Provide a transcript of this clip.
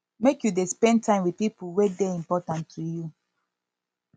make you dey spend time wit pipo wey dey important to you